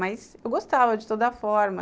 Mas eu gostava de toda forma.